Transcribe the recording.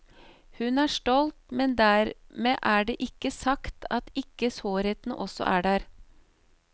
Hun er stolt, men dermed er det ikke sagt at ikke sårheten også er der.